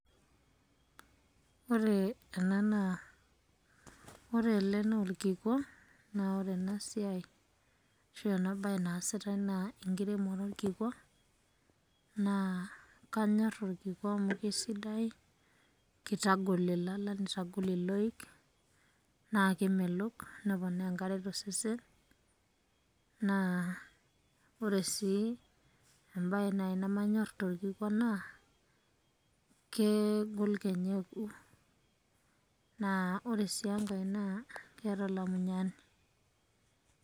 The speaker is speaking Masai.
Ore ena naa .... ore ele naa orkikwa, naa ore ena siai ashu ore ena bae naasitai naa enkiremore orkikwa, naa kanyorr orkikwa amuu kesidai, kitagol ilala nitagol iloik, naa kemelok neponaa enkare tosesen, naa ore sii embae naai nemanyorr torkikwa naa, kegol kenya. Naa ore sii enkai naa keeta olamunyani.